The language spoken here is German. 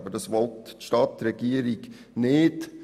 Aber das will die Stadtregierung nicht.